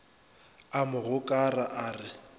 a mo gokara a re